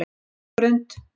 Höfðagrund